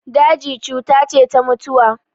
Daji cuta ce ta mutuwa.